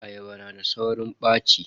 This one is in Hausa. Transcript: Ayaba yana da saurin ɓaci.